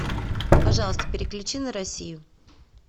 пожалуйста переключи на россию